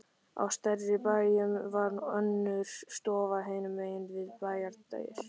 Á stærri bæjum var önnur stofa hinum megin við bæjardyr.